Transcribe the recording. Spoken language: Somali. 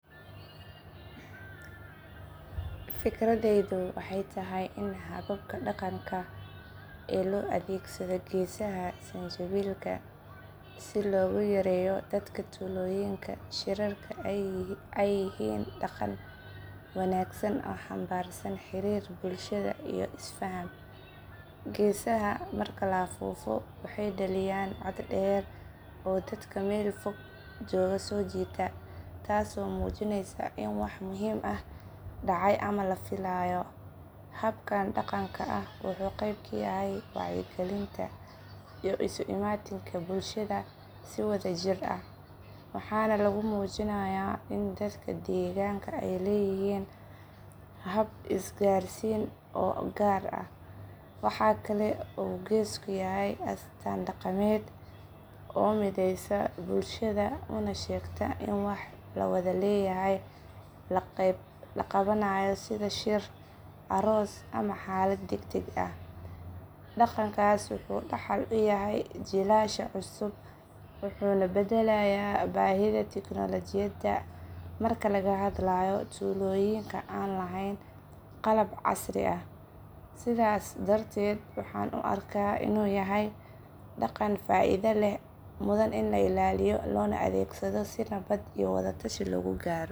Fikradeydu waxay tahay in hababka daganka ee loadegsado gesaha sanjabilka si loguyareyo dadka tuloyinka shirarka ay hiyiin dagan wanagsan oo hanbarsan hirir bulshada iyo isfahan, geesaha marka laafufo waxay dakiyaan cood deer oo dadka mel fican jogaa so jitaa, taas oo mujinaysa in wah muxiim ah dacay ama lafilayo, habkan daganka ah waxa geb kayahay iyo iskuimatinka bulshada si wada jir ah, waxana lagumujinaya in dadka deganka ay leyixiin hab isgarsiin oo gaar ah, waxa kale oo geys kuyahay daqamed oo midaysa bulsha unashegta ini wax lawada leyahay lagadanayo sidha aross ama halad dagdag ah, dagankas waha dahal uyahay sadhasha cusub oo labadalayo bahida technology marka lagahadlayo tuloyinka an lahayn qalab casri ah sidhas darted waxan u arka inu yahay dagan faida leh lanamudan in lailaiyo si nawad .